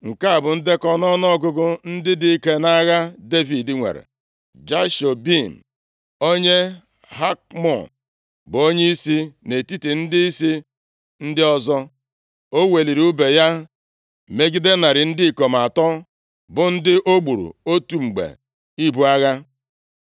Nke a bụ ndekọ ọnụọgụgụ ndị dike nʼagha Devid nwere: Jashobeam, onye Hakmon, bụ onyeisi nʼetiti ndịisi ndị ọzọ. O weliri ùbe ya megide narị ndị ikom atọ, bụ ndị o gburu nʼotu mgbe ibu agha.